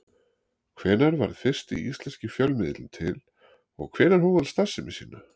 Hvenær varð fyrsti íslenski fjölmiðillinn til og hvenær hóf hann starfsemi sína?